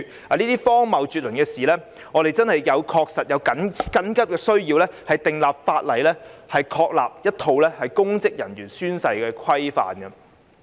面對這些荒謬絕倫的事，我們確實有迫切需要訂立法例，確立一套公職人員宣誓規範。